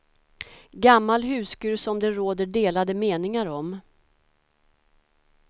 Gammal huskur som det råder delade meningar om.